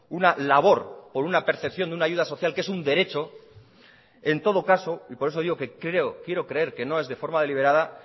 una labor por una percepción de una ayuda social que es un derecho en todo caso y por eso digo que quiero creer que no es de forma deliberada